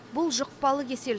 бұл жұқпалы кесел